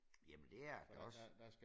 Jamen det er han også